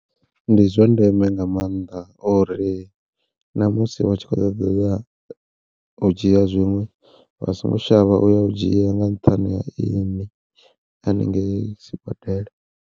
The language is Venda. Ndi zwa ndeme nga maanḓa uri na musi vha tshi khou ṱoḓa ya u dzhia zwiṅwe vha songo shavha u ya u dzhia nga nṱhani ha ya hanengei sibadela.